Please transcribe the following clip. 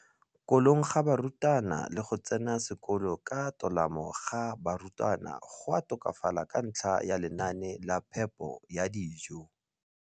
kolong ga barutwana le go tsena sekolo ka tolamo ga barutwana go a tokafala ka ntlha ya lenaane la phepo ya dijo.